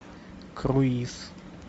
круиз